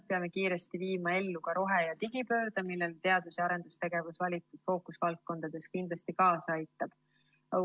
Peame kiiresti viima ellu ka rohe‑ ja digipöörde, millele teadus‑ ja arendustegevus valitud fookusvaldkondades kindlasti kaasa aitab.